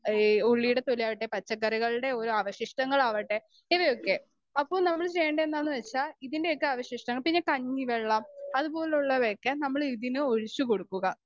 Speaker 2 ഏഹ് ഉള്ളിയുടെ തൊലിയാകട്ടെ പച്ചക്കറികൾടെ ഓരോ അവശിഷ്ടങ്ങളാവട്ടെ ഇവയൊക്കെ അപ്പോ നമ്മള് ചെയ്യേണ്ടതെന്നുവച്ചാ ഇതിൻ്റെയൊക്കെ അവശിഷ്ട്ടങ്ങൾ പിന്നെ കഞ്ഞിവെള്ളം അതുപോലുള്ളവയൊക്കെ നമ്മള് ഇതിന് ഒഴിച്ച് കൊടുക്കുക.